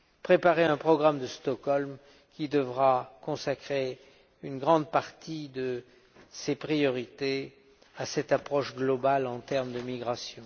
préparer un programme de Stockholm qui devra consacrer une grande partie de ses priorités à cette approche globale en termes de migration.